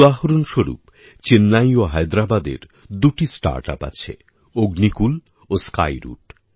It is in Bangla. উদাহরণ স্বরুপ চেন্নাই ও হায়দেরাবাদের দুটি স্টার্টআপ আছে অগ্নিকুল ও স্কাইরুট